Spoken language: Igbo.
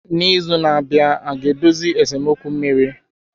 N'izu na-abịa aga-edozi esemokwu mmiri?